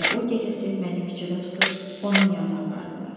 Elə o gecəsi məni küçədə tutub onun yanına apardılar.